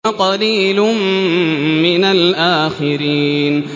وَقَلِيلٌ مِّنَ الْآخِرِينَ